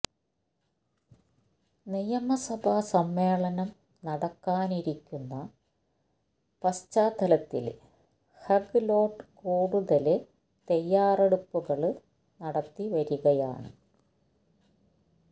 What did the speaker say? നിയമസഭാ സമ്മേളനം നടക്കാനിരിക്കുന്ന പശ്ചാത്തലത്തില് ഗെഹ് ലോട്ട് കൂടുതല് തയാറെടുപ്പുകള് നടത്തി വരികയാണ്